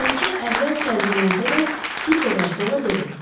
Bələdçi əvvəl təəccüblənsə də, bir qədər sonra dedi: